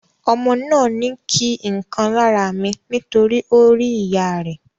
Ọmọ náà ni kí nkan lára mi nitori o ri ìyá rẹ.